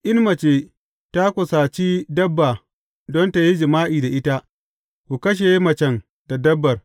In mace ta kusaci dabba don tă yi jima’i da ita, ku kashe macen da dabbar.